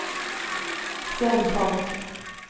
Svenn Falch